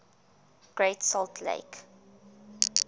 great salt lake